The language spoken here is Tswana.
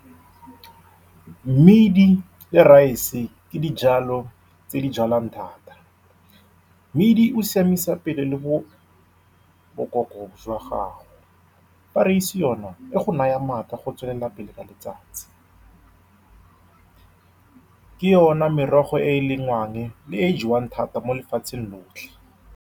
Mmidi le rice ke dijalo tse di jalwang thata. Mmidi o siamisa pelo le boboko jwa gago, fa raese yone e go naya maatla go tswelela pele ka letsatsi. Ke yone merogo e e lengwang le e e jewang thata mo lefatsheng lotlhe.